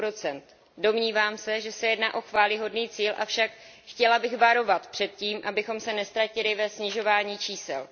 2 Domnívám se, že se jedná o chvályhodný cíl, avšak chtěla bych varovat před tím, abychom se neztratili ve snižování čísel.